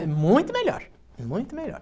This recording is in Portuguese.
É muito melhor, muito melhor.